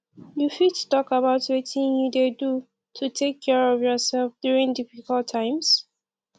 you fit talk about wetin you dey do to take care of yourself during difficult times